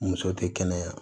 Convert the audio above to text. Muso tɛ kɛnɛya